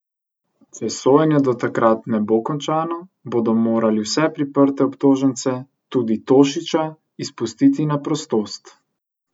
Če sojenje do takrat ne bo končano, bodo morali vse priprte obtožence, tudi Tošića, izpustiti na prostost.